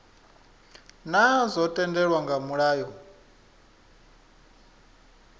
naa zwo tendelwa nga mulayo